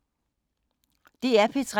DR P3